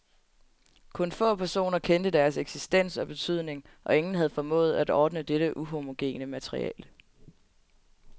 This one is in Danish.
Kun få personer kendte deres eksistens og betydning, og ingen havde formået at ordne dette uhomogene materiale.